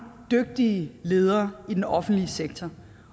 dygtige ledere i den offentlige sektor